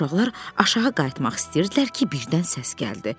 Uşaqlar aşağı qayıtmaq istəyirdilər ki, birdən səs gəldi.